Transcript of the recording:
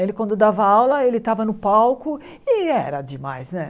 Ele, quando dava aula, ele estava no palco e era demais, né?